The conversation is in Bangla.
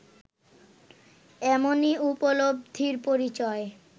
এমনই উপলব্ধির পরিচয়